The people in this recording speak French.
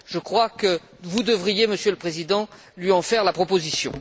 Je crois que vous devriez, Monsieur le Président, lui en faire la proposition.